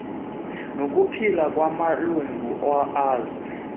nokuphila kwamalungu azo